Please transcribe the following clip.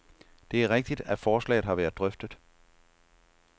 Det er rigtigt, at forslaget har været drøftet.